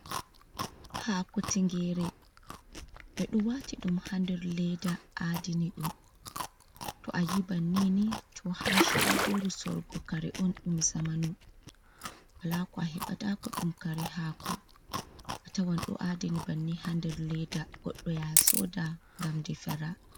Hako tingere ɓeɗo wati ɗum hander leda adini ɗum. to a yi bannini to ha shagoru sorgo kare on ɗum zamanu. wala ko a hebatako. ɗum kare hako atawan ɗo adini banni ha nder leda goɗɗo ya soda ngam ɗefira.